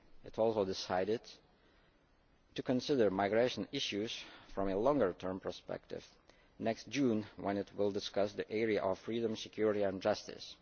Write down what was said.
term. It also decided to consider migration issues from a longer term perspective next June, when it will discuss the area of freedom, security and justice.